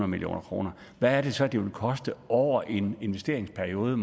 million kroner hvad er det så det vil koste over en investeringsperiode